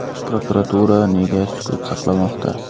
Prokuratura nega sukut saqlamoqda?.